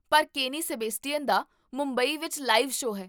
ਪਰ ਕੇਨੀ ਸੇਬੇਸਟੀਅਨ ਦਾ ਮੁੰਬਈ ਵਿੱਚ ਲਾਈਵ ਸ਼ੋਅ ਹੈ